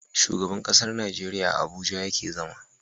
Shugaban ƙasar Nigeria a abuja yake zama